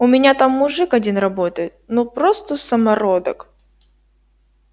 у меня там мужик один работает ну просто самородок